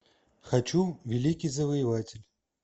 хочу великий завоеватель